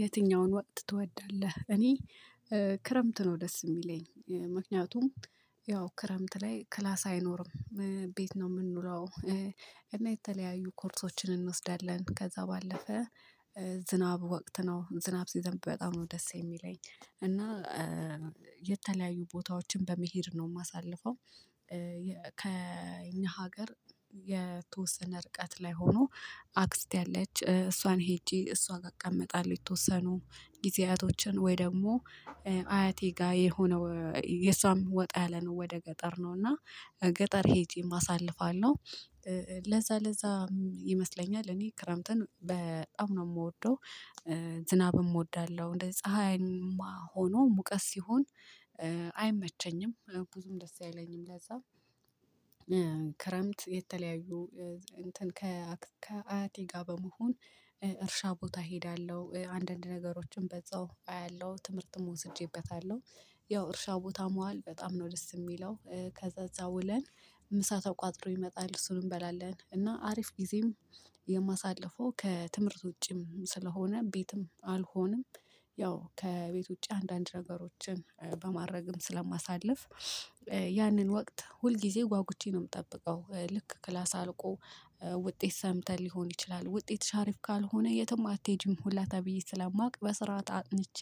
የትኛውን ወቅት ትወዳለህ? እኔ ክረምት ነው ደስ የሚለኝ ምክንያቱም ያው ክረምት ላይ ክላስ አይኖርም ቤት ነው የምንውለው እና የተለያዩ ኮርሶችን እንወስዳለን። ከዛ ባለፈ ዝናብ ወቅት ነው ዝናብ ሲዘንብ በጣም ነው ደስ የሚለኝ እና የተለያዩ ቦታዎችን በመሄድ ነው የማሳልፈው። ከእኛ ሀገር የተወሰነ ርቀት ላይ ሆኖ አክስቴ አለች እሷን ሄጄ እሷ ጋር አቀመጣለች። የተወሰኑ ጊዜያቶችን ወይ ደግሞ አያቴ ጋር የሆነ የሷም ወጣ ያለ ነው ወደ ገጠር ነው እና ገጠር ሄጄም አሳልፋለሁ። ለዛ ለዛ ይመስለኛል እኔ ክረምትን በጣም ነው የምወደው። ዝናብም እወዳለሁ እንደዚ ፀሀይማ ሆኖ ሙቀስ ሲሆን አይመቸኝም ብዙም ደስ የለኝም። ለዛ ክረምት የተለያዩ እንትን ከአያቴ ጋር በመሆን እርሻ ቦታ እሄዳለሁ አንዳንድ ነገሮችን በዛው አያለሁ ትምህርትም ወስጄበታለሁ። ያው እርሻ ቦታ መዋል በጣም ነው ደስ የሚለው። ከዛ እዛ ውለን ምሳ ተቋጥሮ ይመጣል እሱን እንበላለን እና አሪፍ ጊዜም የማሳልፈው ከትምህርት ውጪም ስለሆነ ቤትም አልሆንም። ያው ከቤት ውጪ አንዳንድ ነገሮችን በማድረግም ስለማሳልፍ ያንን ወቅት ሁልጊዜ ጓጉቼ ነው የምጠብቀው። ልክ ክላስ አልቆ ውጤት ሰምተህ ሊሆን ይችላል ውጤሽ አሪፍ ካልሆነ የትም አትሄጂም ሁላ ተብዬ ስላማቅ በስርዓት አጥንቼ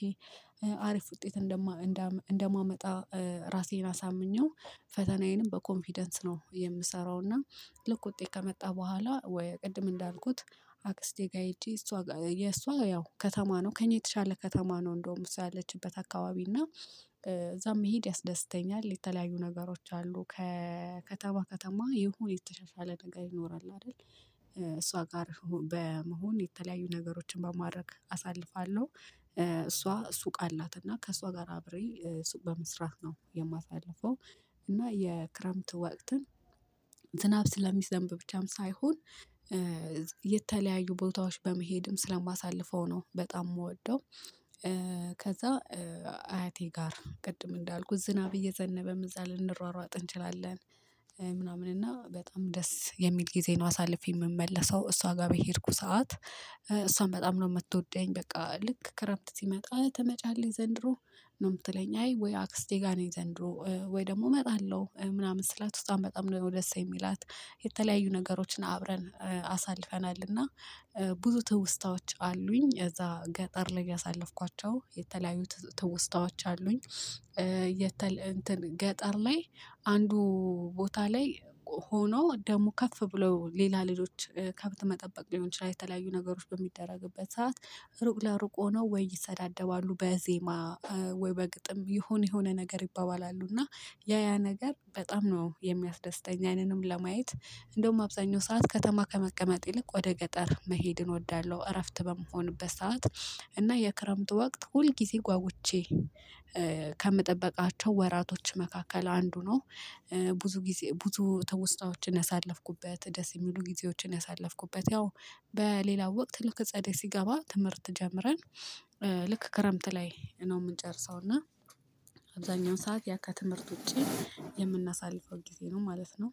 አሪፍ ውጤት እንደማመጣ ራሴን አሳምኘው ፈተናዬንም በኮንፊደንስ ነው የምሰራው። እና ልክ ውጤት ከመጣ በኋላ ወይ ቅድም እንዳልኩት አክስቴ ጋር ሄጄ እሷ ጋ የ እሷ ያው ከተማ ነው ከእኛ የተሻለ ከተማ ነው እንደውም እሷ ያለችበት አካባቢ እና እዛም መሄድ ያስደስተኛል። የተለያዩ ነገሮች አሉ ከከተማ ከተማ ይሁን የተሻሻለ ነገር ይኖራል አይደል? እሷ ጋር በመሆን የተለያዩ ነገሮችን በማድረግ አሳልፋለሁ። እሷ ሱቅ አላት እና ከእሷ ጋር አብሬ ሱቅ በመስራት ነው የማሳልፈው። እና የክረምት ወቅትን ዝናብ ስለሚዘንብ ብቻም ሳይሆን የተለያዩ ቦታዎች በመሄድም ስለማሳልፈው ነው በጣም የምወደው። ከዛ አያቴ ጋር ቅድም እንዳልኩት ዝናብ እየዘነበም እዛ ልንሯሯጥ እንችላለን። ምናምን እና በጣም ደስ የሚል ጊዜ ነው አሳልፌ የምመለሰው። እሷ ጋር በሄድኩ ሰዓት እሷን በጣም ነው የምትወደኝ በቃ ልክ ክረምት ሲመጣ ተመጫለሽ ዘንድሮ ነው የምትለኝ አይ ወይ አክስቴ ጋር ነኝ ዘንድሮ ወይ ደግሞ እመጣለሁ ምናምን ስላት እሷም በጣም ነው ደስ የሚላት። የተለያዩ ነገሮችን አብረን አሳልፈናልና ብዙ ትውስታዎች አሉኝ እዛ ገጠር ላይ ያሳለፍኳቸው የተለያዩ ትውስታዎች አሉኝ። ገጠር ላይ አንዱ ቦታ ላይ ሆኖ ደግሞ ከፍ ብለው ሌላ ልጆች ከብት መጠበቅ ሊሆን ይችላል የተለያዩ ነገሮች በሚደረግበት ሰዓት ሩቅ ለሩቅ ሆኖ ወይ ይሰዳደባሉ በዜማ ወይ በግጥም የሆነ የሆነ ነገር ይባባላሉ እና ያ ያ ነገር በጣም ነው የሚያስደስተኝ። ያንንም ለማየት እንደውም አብዛኛው ሰዓት ከተማ ከመቀመጥ ይልቅ ወደ ገጠር መሄድን እወዳለሁ። እረፍት በምሆንበት ሰዓት እና የክረምት ወቅት ሁል ጊዜ ጓጉቼ ከምጠበቃቸው ወራቶች መካከል አንዱ ነው። ብዙ ጊዜ ብዙ ትውስታዎችን ያሳለፍኩበት ደስ የሚሉ ጊዜዎችን ያሳለፍኩበት ያው በሌላ ወቅት ልክ ጸደይ ሲገባ ትምህርት ጀምረን ልክ ክረምት ላይ ነው የምንጨርሰው። እና አብዛኛውን ሰዓት ያ ከትምህርት ውጪ የምናሳልፈው ጊዜ ነው ማለት ነው